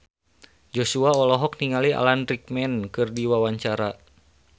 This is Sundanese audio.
Joshua olohok ningali Alan Rickman keur diwawancara